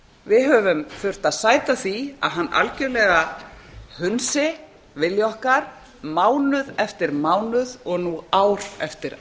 við höfum þurft að sæta því að hann algjörlega hunsi vilja okkar mánuð eftir mánuð og nú ár eftir